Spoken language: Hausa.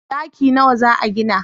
daki nawa za a gina?